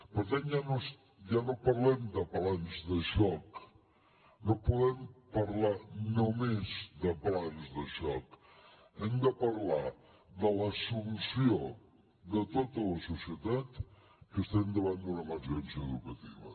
per tant ja no parlem de plans de xoc no podem parlar només de plans de xoc hem de parlar de l’assumpció de tota la societat que estem davant d’una emergència educativa